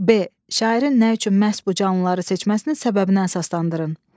B. Şairin nə üçün məhz bu canlıları seçməsinin səbəbinə əsaslandırın.